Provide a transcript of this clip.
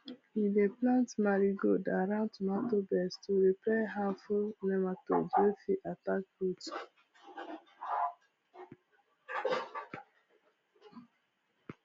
he dey plant marigold around tomato beds to repel harmful nematodes wey fit attack roots